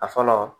A fɔlɔ